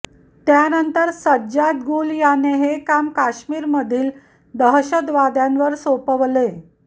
त्यानंतर सज्जाद गुल याने हे काम कश्मीरमधील दहशतवाद्यांवर सोपवले